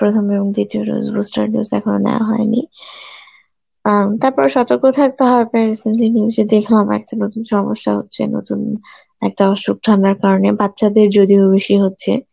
প্রথম এবং দ্বিতীয় dose, booster dose এখনো নেওয়া হয়নি অ্যাঁ উম তারপরও সতর্ক থাকতে হবে দেখলাম একটা নতুন সমস্যা হচ্ছে নতুন একটা অসুখ ছড়ানোর কারণে, বাচ্চাদের যদিও বেশি হচ্ছে.